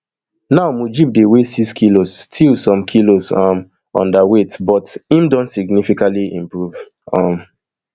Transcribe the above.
now mujib dey weigh six kilos still some kilos um underweight but im don significantly improve um